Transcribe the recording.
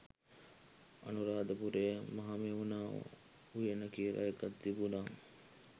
අනුරාධපුරේ මහමෙවුනා උයන කියලා එකක් තිබුනා.